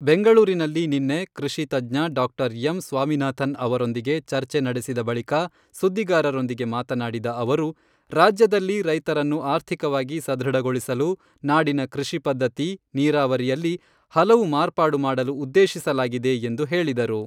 ಬೆಂಗಳೂರಿನಲ್ಲಿ ನಿನ್ನೆ ಕೃಷಿ ತಜ್ಞ ಡಾಕ್ಟರ್ ಎಂ. ಸ್ವಾಮಿನಾಥನ್ ಅವರೊಂದಿಗೆ ಚರ್ಚೆ ನಡೆಸಿದ ಬಳಿಕ ಸುದ್ದಿಗಾರರೊಂದಿಗೆ ಮಾತನಾಡಿದ ಅವರು, ರಾಜ್ಯದಲ್ಲಿನ ರೈತರನ್ನು ಆರ್ಥಿಕವಾಗಿ ಸದೃಢಗೊಳಿಸಲು ನಾಡಿನ ಕೃಷಿ ಪದ್ಧತಿ, ನೀರಾವರಿಯಲ್ಲಿ ಹಲವು ಮಾರ್ಪಾಡು ಮಾಡಲು ಉದ್ದೇಶಿಸಲಾಗಿದೆ ಎಂದು ಹೇಳಿದರು.